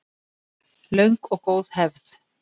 Löng og góð hefð